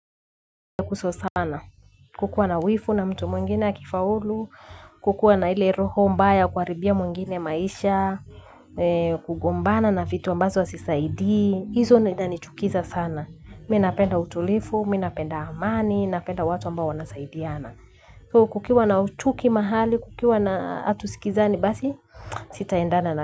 Kukua na wivu na mtu mwingine akifaulu, kukua na hile roho mbaya kuharibia mwingine maisha, kugombana na vitu ambazo hazisaidii, hizo nenda ni chukiza sana. Minapenda utulivu, minapenda amani, napenda watu ambao wanasaidiana. Kukiwa na chuki mahali, kukiwa na hatusikizani basi, sitaendana na.